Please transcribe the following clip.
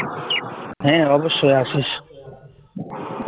হ্যাঁ অবশ্যই আসিস